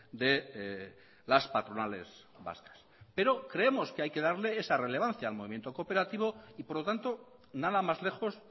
de las patronales vascas pero creemos que hay que darle esa relevancia al movimiento cooperativo y por lo tanto nada más lejos